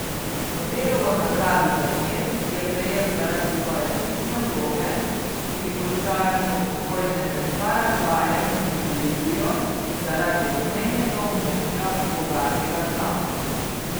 Nobelovo nagrado za mir je prejel zaradi svoje ključne vloge pri končanju vojne med Paragvajem in Bolivijo zaradi obmejnega območja, bogatega z nafto.